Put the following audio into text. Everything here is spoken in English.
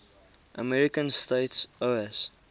american states oas